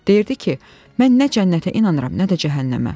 Deyirdi ki, mən nə cənnətə inanıram, nə də cəhənnəmə.